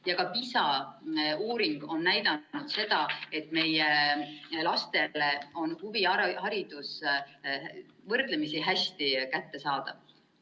Ka PISA uuring on näidanud, et meie lastele on huviharidus võrdlemisi hästi kättesaadav.